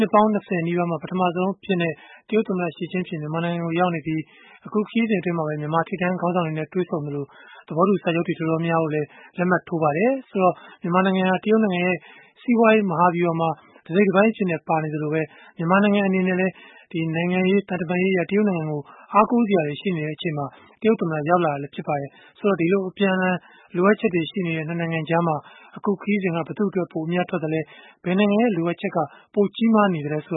ှစ်ပေါင်း ၂၀ နီးပါးမှာ ပထမဆုံး တရုတ်ခေါင်းဆောင်အဖြစ် သမ္မတ Xi Jinping မြန်မာနိုင်ငံမှာ ရောက်နေပြီး ခရီးစဉ်အတွင်း မြန်မာထိပ်တန်း ခေါင်းဆောင်တွေနဲ့ တွေ့ဆုံခဲ့သလို၊ သဘောတူစာချုပ်တွေ တော်တော်များများကိုလည်း လက်မှတ်ထိုးကြပါတယ်။ မြန်မာနိုင်ငံဟာ တရုတ်နိုင်ငံရဲ့ စီးပွားရေး မဟာဗျုဟာမှာ တစိတ်တပိုင်းအဖြစ် ပါဝင်နေသလို၊ မြန်မာနိုင်ငံ အနေနဲ့လည်း နိုင်ငံရေး၊ သံတမန်ရေးအရ တရုတ်နိုင်ငံကို အားကိုးစရာတွေ ရှိနေချိန်မှာ တရုတ်သမ္မတ ရောက်လာတာလည်း ဖြစ်ပါတယ်။ ဒီလို အပြန်အလှန် လိုအပ်ချက်တွေ ရှိနေတဲ့ ၂ နိုင်ငံကြားမှာ အခုခရီးစဉ်က ဘယ်သူ့အတွက် ပိုအမြတ်ထွက်ခဲ့သလဲ ဘယ်နိုင်ငံရဲ့ လိုအပ်ချက်က ပိုကြီးမားနေသလဲ ဆို